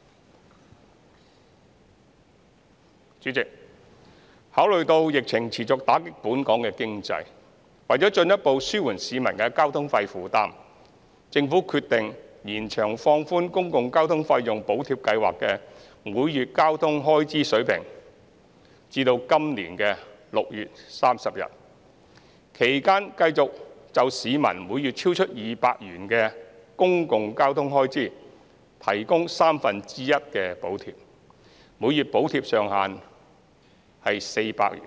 代理主席，考慮到疫情持續打擊本港經濟，為進一步紓緩市民的交通費負擔，政府決定延長放寬公共交通費用補貼計劃的每月交通開支水平至今年6月30日，其間繼續就市民每月超出200元的公共交通開支提供三分之一的補貼，每月補貼上限為400元，